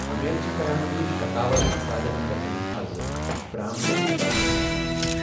اُمیٖد چھِ کران زِ شَکاوَر افرادَن گژھَن آز برامپٹنَ عدالتَس منٛز پیش۔